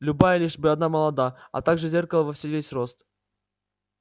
любая лишь бы она была молода а также зеркало во весь рост